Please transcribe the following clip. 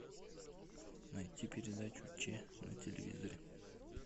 найти передачу че на телевизоре